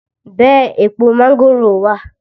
Bẹ èpo mángòrò wá!